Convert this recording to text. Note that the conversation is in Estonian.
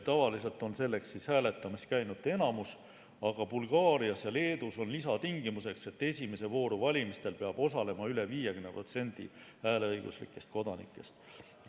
Tavaliselt on selleks hääletamas käinute enamus, aga Bulgaarias ja Leedus on lisatingimus, et esimeses voorus peab osalema üle 50% hääleõiguslikest kodanikest.